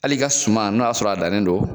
Hali ka suman n'o y'a sɔrɔ a dannen don